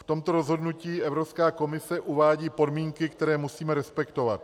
V tomto rozhodnutí Evropská komise uvádí podmínky, které musíme respektovat.